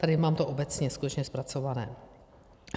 Tady to mám obecně skutečně zpracované.